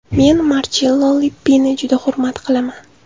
Men Marchello Lippini juda hurmat qilaman.